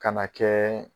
Ka na kɛ